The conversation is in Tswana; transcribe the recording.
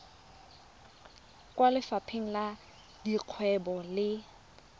kwa lefapheng la dikgwebo le